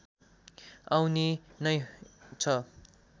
आउने नै छ